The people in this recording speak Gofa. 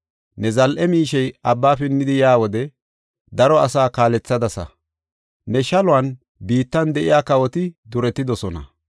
“Ne zal7e miishey abba pinnidi yaa wode, daro asaa kalsadasa; ne shaluwan biittan de7iya kawoti duretidosona.